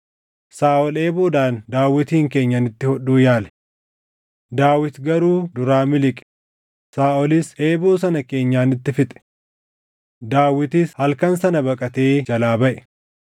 Saaʼol eeboodhaan Daawitin keenyanitti hodhuu yaale; Daawit garuu duraa miliqe; Saaʼolis eeboo sana keenyanitti fixe. Daawitis halkan sana baqatee jalaa baʼe.